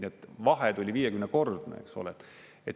Nii et vahe tuli 50-kordne.